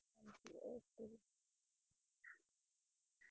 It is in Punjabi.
ok ਜੀ